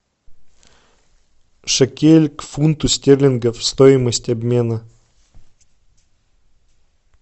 шекель к фунту стерлингов стоимость обмена